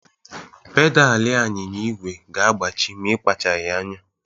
Pedalị anyịnya igwe ga-agbaji ma ịkpachaghị anya.